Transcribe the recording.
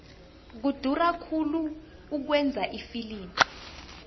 kudura khulu ukwenza ifilimu